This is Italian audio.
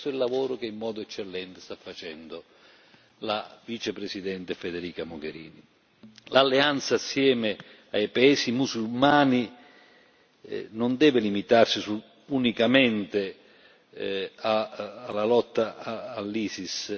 E questo è il lavoro che in modo eccellente sta facendo la vicepresidente Federica Mogherini. L'alleanza assieme ai Paesi musulmani non deve limitarsi unicamente alla lotta all'Isis.